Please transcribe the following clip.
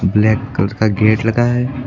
Black colour का gate लगा है।